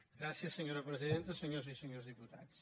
gràcies senyora presidenta senyores i senyors diputats